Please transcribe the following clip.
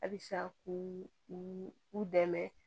Halisa k'u u dɛmɛ